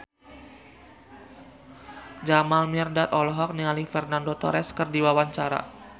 Jamal Mirdad olohok ningali Fernando Torres keur diwawancara